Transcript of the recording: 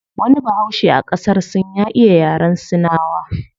Wani bahaushe a qasar sin ya iya yaren sinawa